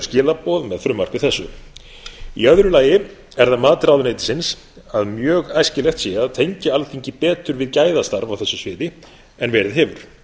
skilaboð með frumvarpi þessi í öðru lagi er það mat ráðuneytisins að mjög æskilegt sé að tengja alþingi betur við gæðastarf á þessu sviði en verið hefur